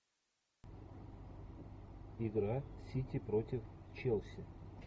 игра сити против челси